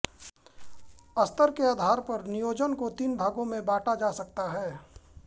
स्तर के आधार पर नियोजन को तीन भागों में बॉटा जा सकता है